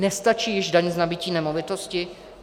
Nestačí již daň z nabytí nemovitosti?